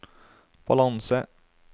balanse